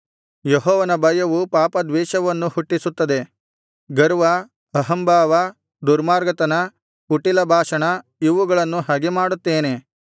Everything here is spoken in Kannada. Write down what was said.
ಯೆಹೋವನ ಭಯವು ಪಾಪದ್ವೇಷವನ್ನು ಹುಟ್ಟಿಸುತ್ತದೆ ಗರ್ವ ಅಹಂಭಾವ ದುರ್ಮಾರ್ಗತನ ಕುಟಿಲ ಭಾಷಣ ಇವುಗಳನ್ನು ಹಗೆಮಾಡುತ್ತೇನೆ